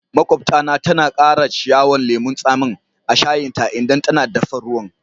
Maƙwabta na tana Kara ciyawan lemun tsami a'shayin ta idan tana daffa ruwan.